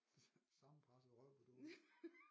Sammenpresset røv på dåse